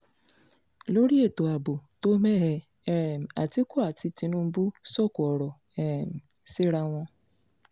lórí ètò ààbò tó mẹ́hẹ́ um àtìkú àti tinúbù sọ̀kò ọ̀rọ̀ um síra wọn